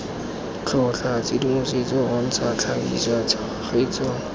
tlhotlha tshedimosetso bontsha tlhagisa tshegetso